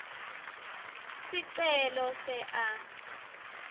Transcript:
sicelo se a